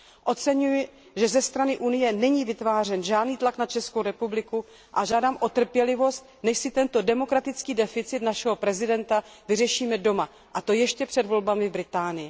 Oceňuji, že ze strany Unie není vytvářen žádný tlak na Českou republiku, a žádám o trpělivost, než si tento demokratický deficit našeho prezidenta vyřešíme doma, a to ještě před volbami v Británii.